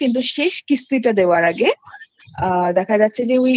করলো কিন্তু শেষ কিস্তি টা দেওয়ার আগে দেখা গেছে যে